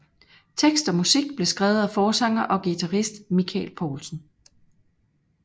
Tekst og musik blev skrevet af forsanger og guitarist Michael Poulsen